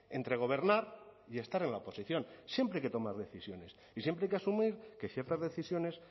entre gobernar y estar en la oposición siempre hay que tomar decisiones y siempre hay que asumir que ciertas decisiones